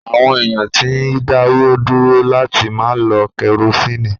Àwọn èèyàn ti dáwọ́ dúró láti máa lo kẹrosíìnì